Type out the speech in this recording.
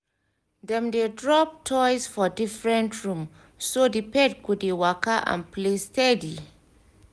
dem drop toys for different room so the pet go dey waka and play steady